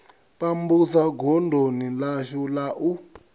pambusa godoni ḽashu la u